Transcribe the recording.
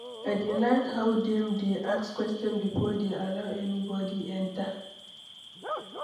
I dey like how dem dey ask questions before dey allow anybody enter.